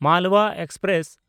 Malwa express